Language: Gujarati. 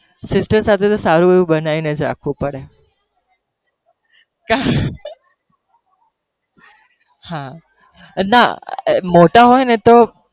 sister સાથે સારું એવું બનાવીને જ રાખવું પડે, હા ના મોટા હોય ને તો